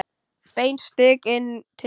Beint strik inn til sín.